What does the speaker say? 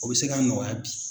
O bɛ se ka nɔgɔya bi.